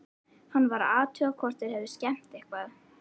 Hann varð að athuga hvort þeir hefðu skemmt eitthvað.